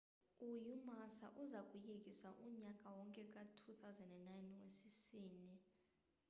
i-umassa iuza kuyekiswa unyaka wonke ka-2009 wesizini